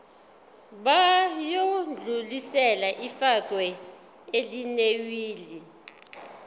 bayodlulisela ifa elinewili